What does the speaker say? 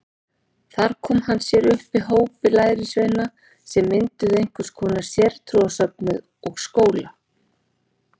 Þar kom hann sér upp hópi lærisveina sem mynduðu einhvers konar sértrúarsöfnuð og skóla.